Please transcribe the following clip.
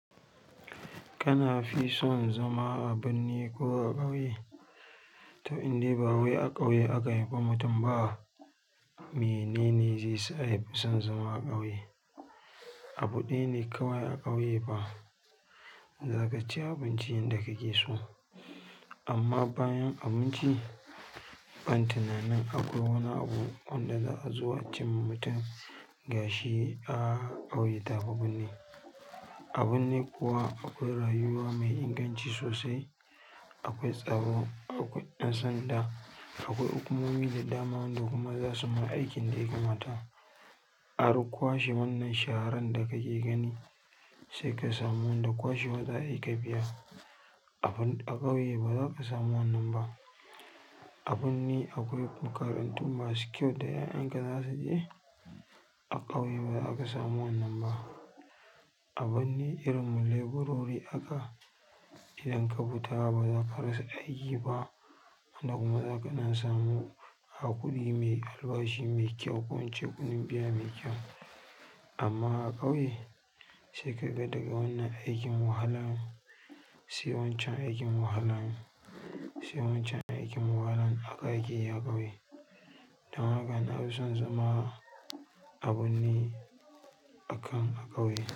Kana fi son zama a birni ko a ƙauye? To indai ba wai a ƙauye aka haifi mutum ba. Mene ne zai sa ya fi son zama a ƙauye. Abu ɗaya ne kawai a ƙauye ba za ka ci abincin yanda kake so. Amma bayan abinci ban tuna nin akwai wani abu wanda za a zo a cimma mutum gashi a ƙauye taɓa birni. A birni kuwa akwai rayuwa mai inganci sosai. Akwai tsaro, akwai ɗan sanda, akwai hukumomi da dama waɗanda kuma za su mana aikin da yaka mata. A ruƙwashe wannan sharan da kake gani sai ka samu wanda kwashewa za a yi ka biya. A ƙauye ba za ka samu wannan ba. A birni akwai makarantu masu kyau da 'ya'yanka za su je? A ƙauye ba za ka samu wannan ba. A birni irin mu leburori haka. Idan ka bi ta ba za ka rasa aiki ba wanda kuma za ka na samu a kuɗi mai albashi mai kyau ko wance kuɗin biya mai kyau. Amma a ƙauye sai ka ga daga wannan aikin wahalan sai wancan aikin wahalan sai wancan aikin wahalan haka akeyi a ƙauye. Dan haka na fi son zama a birni akan a ƙauye.